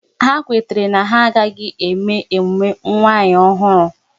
Ha kwetara na ha agaghị eme emume nwanyi ọhụrụ